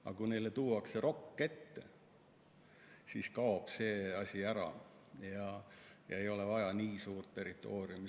Aga kui neile tuuakse rokk ette, siis kaob see vajadus ära, ei ole vaja nii suurt territooriumi.